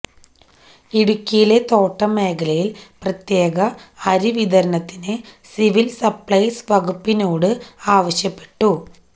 ഇടുക്കിയിലെ തോട്ടം മേഖലയിൽ പ്രത്യേക അരി വിതരണത്തിന് സിവിൽ സപ്ലൈസ് വകുപ്പിനോട് ആവശ്യപ്പെട്ടു